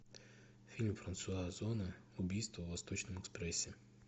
фильм франсуа озона убийство в восточном экспрессе